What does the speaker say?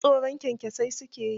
Duk tsorin kyankyaso su ke yi.